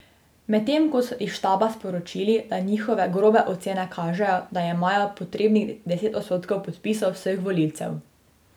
Medtem so iz štaba sporočili, da njihove grobe ocene kažejo, da imajo potrebnih deset odstotkov podpisov vseh volivcev.